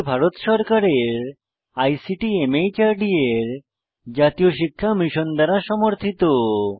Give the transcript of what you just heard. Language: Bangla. এটি ভারত সরকারের আইসিটি মাহর্দ এর জাতীয় শিক্ষা মিশন দ্বারা সমর্থিত